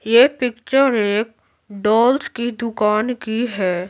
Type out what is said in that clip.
ये पिक्चर एक डॉल्स की दुकान की है।